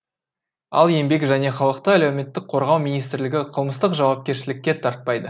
ал еңбек және халықты әлеуметтік қорғау министрлігі қылмыстық жауапкершілікке тартпайды